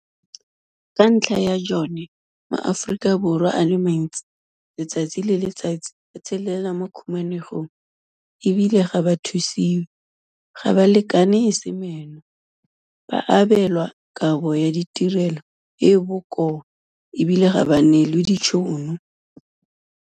Ka ntlha ya jone, maAforika Borwa a le mantsi letsatsi le letsatsi a tshelela mo khumanegong e bile ga ba thusiwe, ga ba lekane e se meno, ba abelwa kabo ya ditirelo e e bokoa e bile ga ba neelwe ditšhono.